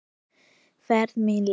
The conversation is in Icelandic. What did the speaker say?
Fer mína leið.